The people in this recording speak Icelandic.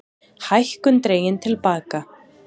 Hækkun dregin til baka